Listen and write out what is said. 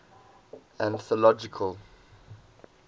anthological